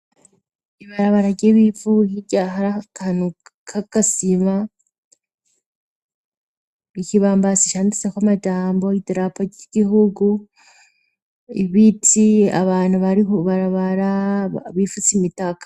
Ibarabara ry'ibivu hirya hari akantu k'agasima n' ikibambazi canditseko amajambo idarapa ry'igihugu ibiti abantu bari kwibarabara bifutse imitaka.